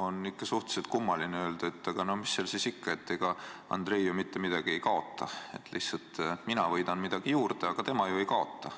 on ikka suhteliselt kummaline öelda, et no mis seal siis ikka, ega Andrei ju mitte midagi ei kaota, lihtsalt mina võidan midagi juurde, aga tema ju ei kaota.